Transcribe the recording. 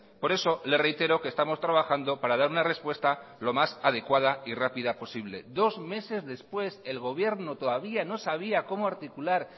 por eso le reitero que estamos trabajando para dar una respuesta lo más adecuada y rápida posible dos meses después el gobierno todavía no sabía cómo articular